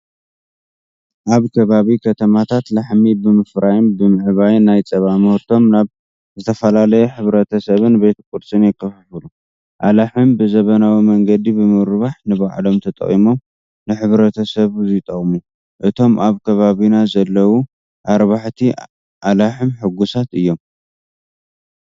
ኣብ ከባቢ ከተማታት ላህሚ ብምፍራይን ብምዕባይን ናይ ፀባ ምህርቶም ናብ ዝፈተላለዩ ሕብረተሰባትን ቤት ቁርስን የከፋፍሉ። ኣላህም ብዘበናዊ መንገዲ ብምርባሕ ንባዕሎም ተጠቒሞም ንሕብረተሰብው ይጠቅሙ። እቶም ኣብ ከባቢና ዘለው ኣራባሕቲ ኣላህም ሕጉሳት እዮም።